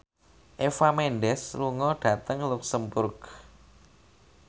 Eva Mendes lunga dhateng luxemburg